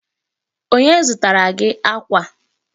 Onye zụtara gị akwa?